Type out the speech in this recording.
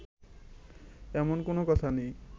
এমন কোন কথা নেই